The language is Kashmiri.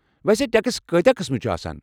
ویسے ٹٮ۪کس کۭتیاہ قٕسمہٕ چھِ آسان ؟